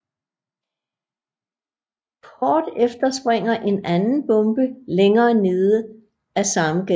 Kort efter springer en anden bombe længere nede af samme gade